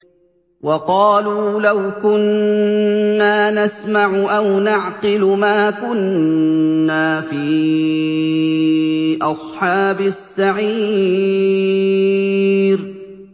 وَقَالُوا لَوْ كُنَّا نَسْمَعُ أَوْ نَعْقِلُ مَا كُنَّا فِي أَصْحَابِ السَّعِيرِ